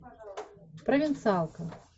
провинциалка